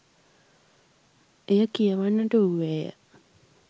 එය කියවන්නට වූවේය